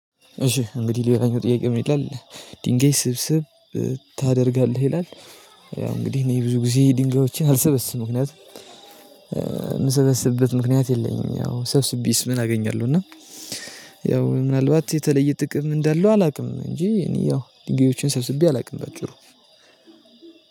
እሺ እንግዲህ ሌላኛው ጥያቄ ምን ይላል? ድንገይ ስብስብ ታደርጋለህ ይላል? ያው እንግዲህ እኔ ብዙ ጊዜ ድንጋዮቼን አልሰበስብም ምክንያት የምሰበስብበት ምክንያት የለኝም። ያው ሰብስቤስ ምን አገኛለሁ እና ያው ምናልባት የተለየ ጥቅም እንዳለው አላውቅም። እንጂ እኔ ያው ድንጋዮችን ሰርስቤ አላውቅም በጭሩ።